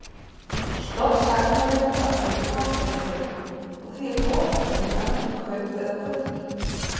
Stofn sagnarinnar að kaupa er kaup og því er boðhátturinn annaðhvort kaup eða kauptu.